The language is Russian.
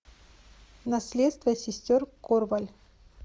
наследство сестер корваль